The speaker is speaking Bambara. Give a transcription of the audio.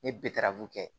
N ye bitarabu kɛ